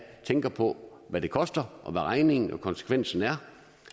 tænker på hvad det koster og hvad regningen og konsekvensen er